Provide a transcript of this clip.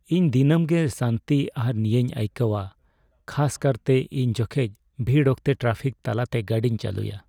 ᱤᱧ ᱫᱤᱱᱟᱹᱢ ᱜᱮ ᱥᱟᱱᱛᱤ ᱟᱨ ᱱᱤᱭᱟᱹᱭᱤᱧ ᱟᱹᱭᱠᱟᱹᱣᱟ ᱠᱷᱟᱥ ᱠᱟᱨᱛᱮ ᱤᱧ ᱡᱚᱠᱷᱮᱡ ᱵᱷᱤᱲ ᱚᱠᱛᱮ ᱴᱨᱟᱯᱷᱤᱠ ᱛᱟᱞᱟ ᱛᱮ ᱜᱟᱹᱰᱤᱧ ᱪᱟᱹᱞᱩᱭᱟ ᱾